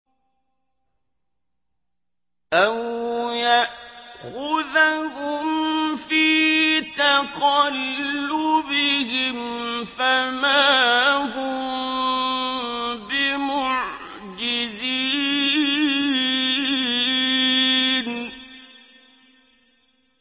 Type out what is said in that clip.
أَوْ يَأْخُذَهُمْ فِي تَقَلُّبِهِمْ فَمَا هُم بِمُعْجِزِينَ